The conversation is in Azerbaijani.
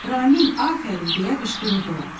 "Ramin, afərin!" deyə qışqırırdılar.